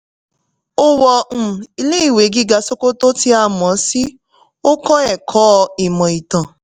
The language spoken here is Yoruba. ó wọ um ilé ìwé gíga sokoto tí a mọ̀ sí ó kọ́ ẹ̀kọ́ ìmò ìtàn